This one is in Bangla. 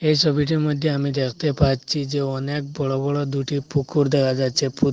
এই সবিটির মইধ্যে আমি দেখতে পাচ্ছি যে অনেক বড় বড় দুটি পুকুর দেখা যাচ্ছে পু--